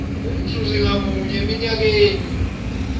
umzuzi ngamunye eminyakeni